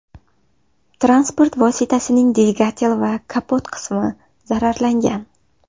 Transport vositasining dvigatel va kapot qismi zararlangan.